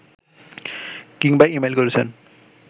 কিংবা ই-মেইল করেছেন